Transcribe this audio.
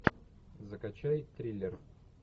закачай триллер